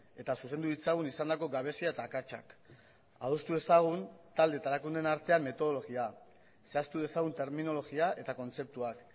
eta zuzendu ditzagun izandako gabezia eta akatsak adostu dezagun talde eta erakundeen artean metodologia zehaztu dezagun terminologia eta kontzeptuak